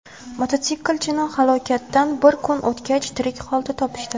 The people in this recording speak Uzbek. Mototsiklchini halokatdan bir kun o‘tgach tirik holda topishdi.